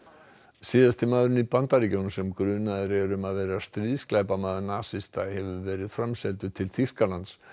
síðasti maðurinn í Bandaríkjunum sem grunaður er um að vera stríðsglæpamaður nasista hefur verið framseldur til Þýskalands